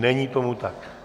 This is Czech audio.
Není tomu tak.